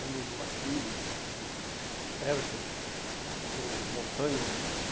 Lembro do Aquiles, do Hércules, aham, ou Montanha